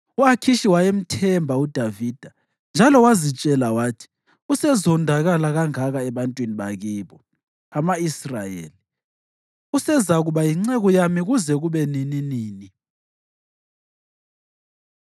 U-Akhishi wayemthemba uDavida njalo wazitshela wathi, “Usezondakala kangaka ebantwini bakibo, ama-Israyeli, usezakuba yinceku yami kuze kube nininini.”